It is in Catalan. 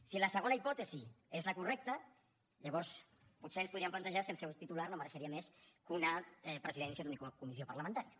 si la segona hipòtesi és la correcta llavors potser ens podríem plantejar si el seu titular no mereixia més que una presidència d’una comissió parlamentària